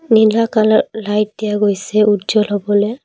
নীলা colour light দিয়া গৈছে উজ্জ্বল হবলৈ।